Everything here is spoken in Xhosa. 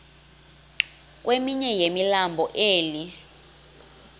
komnye wemilambo emi